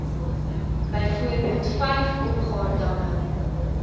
byvoorbeeld vyf opgaardamme